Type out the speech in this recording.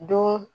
Don